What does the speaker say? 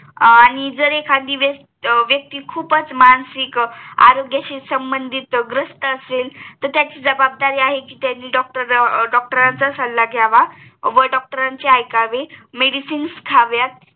आणि जर एखादी अं व्यक्ती खूपच मानसिक आरोग्याशी संबंधित ग्रस्त असेल तर त्यांची जवाबदारी आहे कि त्यांनी डॉक्टरांचं अं सल्ला घ्यावा व डॉक्टरांचे ऐकावे Medicines खाव्यात